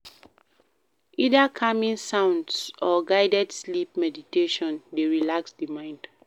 Either calming sounds or guided sleep meditation de relax di mind